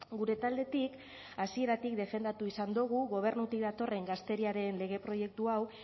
gure taldetik hasieratik defendatu izan dogu gobernutik datorren gazteriaren lege proiektu hau